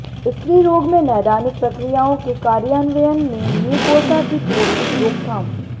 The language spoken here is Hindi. स्त्री रोग में नैदानिक प्रक्रियाओं के कार्यान्वयन में म्यूकोसा को चोट की रोकथाम